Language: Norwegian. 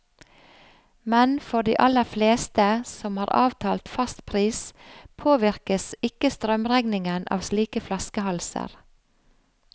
Men for de aller fleste, som har avtalt fast pris, påvirkes ikke strømregningen av slike flaskehalser.